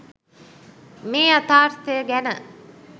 මේ යථාර්ථය ගැන